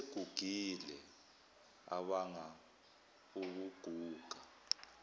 asegugile abanga ukuguga